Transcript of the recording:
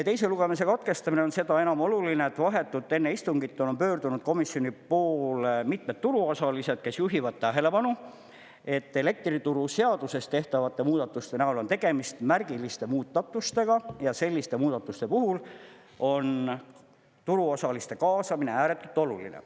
Teise lugemise katkestamine on seda enam oluline, et vahetult enne istungit on pöördunud komisjoni poole mitmed turuosalised, kes juhivad tähelepanu, et elektrituruseaduses tehtavate muudatuste näol on tegemist märgiliste muudatustega ja selliste muudatuste puhul on turuosaliste kaasamine ääretult oluline.